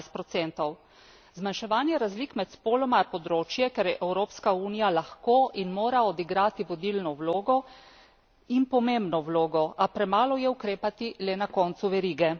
14 Zmanjševanje razlik med spoloma je področje, kjer je Evropska unija lahko in mora odigrati vodilno vlogo in pomembno vlogo, a premalo je ukrepati le na koncu verige.